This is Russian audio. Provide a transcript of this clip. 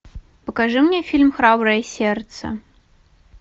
покажи мне фильм храброе сердце